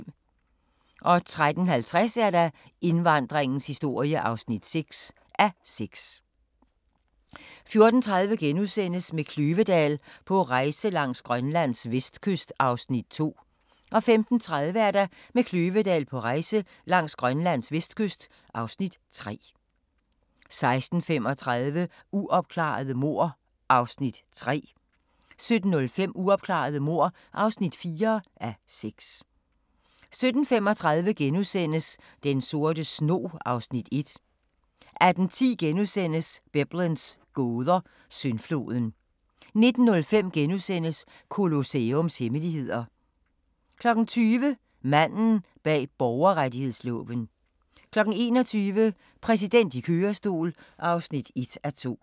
13:50: Indvandringens historie (6:6) 14:30: Med Kløvedal på rejse langs Grønlands vestkyst (Afs. 2)* 15:30: Med Kløvedal på rejse langs Grønlands vestkyst (Afs. 3) 16:35: Uopklarede mord (3:6) 17:05: Uopklarede mord (4:6) 17:35: Den sorte snog (Afs. 1)* 18:10: Biblens gåder – Syndfloden * 19:05: Colosseums hemmeligheder * 20:00: Manden bag borgerrettighedsloven 21:00: Præsidenten i kørestol (1:2)